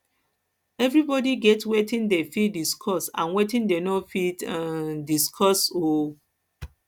everybody get wetin dem fit discuss and wetin dem no fit um discuss um